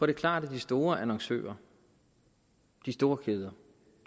er klart at de store annoncører de store kæder